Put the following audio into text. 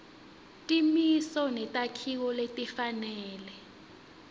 timiso netakhiwo letifanele